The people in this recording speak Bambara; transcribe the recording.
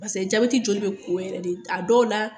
Paseke jabɛti joli be ko yɛrɛ de, aw dɔw la